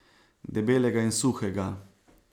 Debelega in suhega.